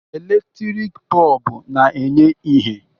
Eletrik bọlbụ na-enye ìhè.